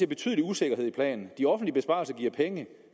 betydelig usikkerhed i planen og de offentlige besparelser giver penge